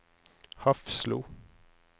Hafslo